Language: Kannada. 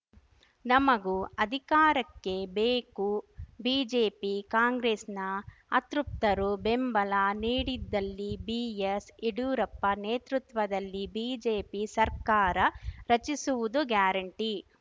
ನಮಗೂ ಅಧಿಕಾರಕ್ಕೆ ಬೇಕು ಬಿಜೆಪಿ ಕಾಂಗ್ರೆಸ್‌ನ ಅತೃಪ್ತರು ಬೆಂಬಲ ನೀಡಿದ್ದಲ್ಲಿ ಬಿಎಸ್‌ಯಡ್ಯೂರಪ್ಪ ನೇತೃತ್ವದಲ್ಲಿ ಬಿಜೆಪಿ ಸರ್ಕಾರ ರಚಿಸುವುದು ಗ್ಯಾರಂಟಿ